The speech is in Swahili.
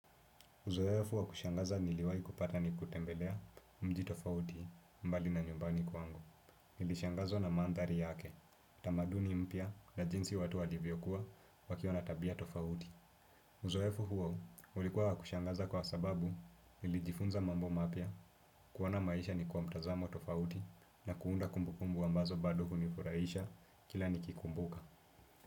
Uzoefu wa kushangaza niliwahi kupata ni kutembelea mji tofauti mbali na nyumbani kwangu. Nili shangazwa na mandari yake, tamaduni mpia na jinsi watu walivyokuwa wakiwa na tabia tofauti. Uzoefu huo ulikuwa wa kushangaza kwa sababu nilijifunza mambo mapia kuwona maisha ni kwa mtazamo tofauti na kuunda kumbukumbu ambazo bado hunifuraisha kila nikikumbuka.